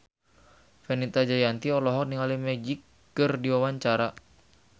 Fenita Jayanti olohok ningali Magic keur diwawancara